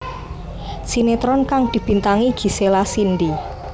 Sinetron kang dibintangi Gisela Cindy